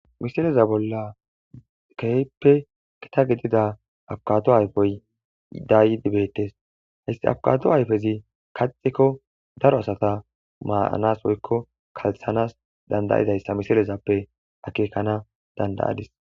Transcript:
misileza bolla keehippe gita gidida aabukkado ayfey dayidi beettes he abikkado ayfezii kaxikko daro asata maanas woykko kalththanas dandaizayssa misilezappe akkekanas dandaadis